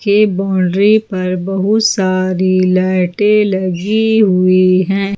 के बाउंड्री पर बहुत सारी लाइटे लगी हुई है।